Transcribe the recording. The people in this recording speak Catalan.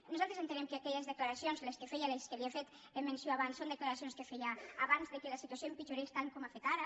nosaltres entenem que aquelles declaracions les que feia de les quals li he fet menció abans són declaracions que feia abans que la situació empitjorés tant com ho ha fet ara